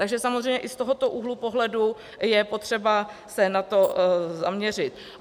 Takže samozřejmě i z tohoto úhlu pohledu je potřeba se na to zaměřit.